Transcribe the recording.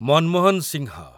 Manmohan Singh